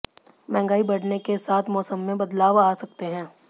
महंगाई बढ़ने के साथ मौसम में बदलाव आ सकते हैं